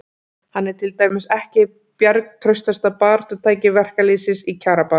Hann er til dæmis ekki hið bjargtrausta baráttutæki verkalýðsins í kjarabaráttunni.